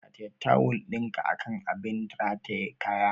Rataye tawul ɗinka akan abin rataye kaya!